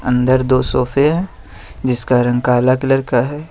अन्दर दो सोफे हैं जिसका रंग काला कलर का है।